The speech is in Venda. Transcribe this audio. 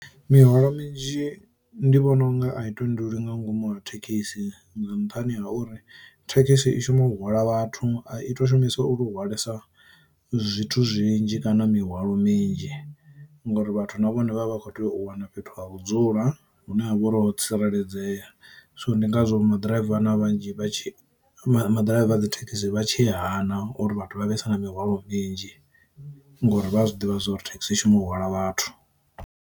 Mihwalo minzhi ndi vhona unga a i tendelwi nga ngomu ha thekhisi nga nṱhani ha uri, thekhisi i shuma u hwala vhathu a itiwa shumiswa u lu ho hwalesa zwithu zwinzhi kana mihwalo minzhi ngori vhathu na vhone vha vha vha kho tea u wana fhethu ha vhudzula hune ha vha uri ho tsireledzea. So ndi ngazwo maḓiraiva na vhanzhi vha tshi maḓiraiva a dzithekisi vhatshi hana uri vhathu vha vhesa na mihwalo minzhi ngori vha a zwi ḓivha zwa uri thekhisi i shuma u hwala vhathu.